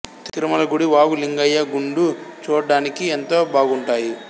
తిరుమల గుడి వాగు లింగయ్య గుండు చూడడానికి ఎంతో బాగుంటాయి